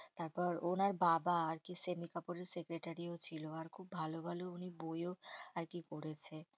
তারপর ওনার বাবা আরকি সেমী কাপুরের secretary ও ছিল আর খুব ভালো ভালো উনি বইও আরকি করেছে।